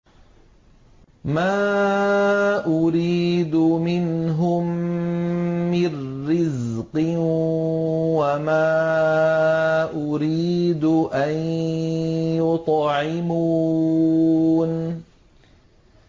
مَا أُرِيدُ مِنْهُم مِّن رِّزْقٍ وَمَا أُرِيدُ أَن يُطْعِمُونِ